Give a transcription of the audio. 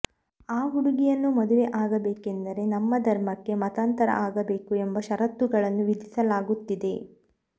ಆ ಹುಡುಗಿಯನ್ನು ಮದುವೆ ಆಗಬೇಕೆಂದರೆ ನಮ್ಮ ಧರ್ಮಕ್ಕೆ ಮತಾಂತರ ಆಗಬೇಕು ಎಂಬ ಷರತ್ತುಗಳನ್ನು ವಿಧಿಸಲಾಗುತ್ತಿದೆ